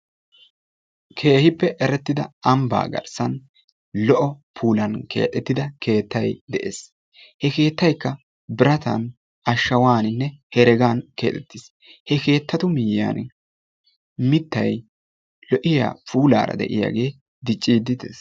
Keehippe erettida ambba garssan lo"o puulan keexettida keettay de'ees. He keettaykka biratan, ashawaaninne heregan keexettiis. He keettatu miyyiyan mittay lo"iya puulaara de'iyagee dicciidde dees.